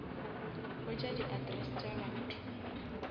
hwetša di address tša batho